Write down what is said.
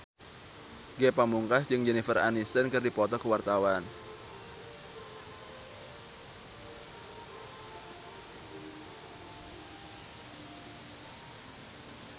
Ge Pamungkas jeung Jennifer Aniston keur dipoto ku wartawan